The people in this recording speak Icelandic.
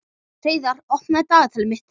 Hreiðar, opnaðu dagatalið mitt.